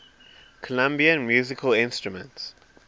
colombian musical instruments